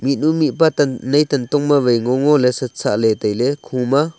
edu mihpa tan nai tantong ma ngongoley sat sahley tailey khuma.